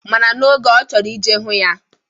Mana n'oge a, ọ chọrọ ije hụ ya.